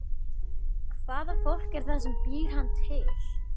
Hvaða fólk er það sem býr hann til?